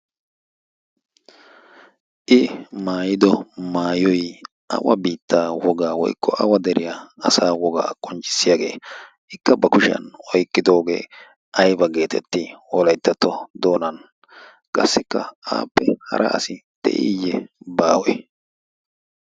I maayiiddo maayoyi awa biitta wogga woyikko awa deriyaa asa wogga qoncissiyaagge? Ikka ba kushshiyaan oyqqidogge ayibba getetti wolayttatto doonani qasikka aapun hara asi diiye baawe?